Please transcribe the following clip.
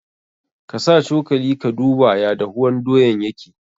Ka sa cokali ka duba ya dahuwan doyan yake.